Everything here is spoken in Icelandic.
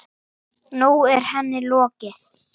Nú er henni lokið.